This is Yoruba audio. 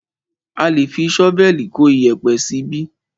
A lé fi ṣọ́vẹ̀lì kó iyẹ̀pẹ̀ síbí.